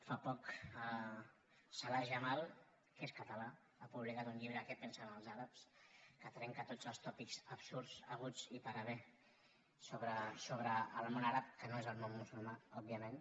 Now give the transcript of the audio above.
fa poc salah jamal que és català ha publicat un llibre sobre què pensen els àrabs que trenca tots els tòpics absurds haguts i per haver sobre el món àrab que no és el món musulmà òbviament